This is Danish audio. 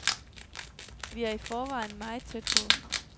Vi er i forvejen meget tæt på.